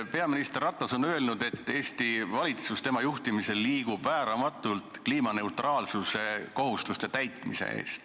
Peaminister Ratas on öelnud, et Eesti valitsus liigub tema juhtimisel vääramatult kliimaneutraalsuse kohustuste täitmise poole.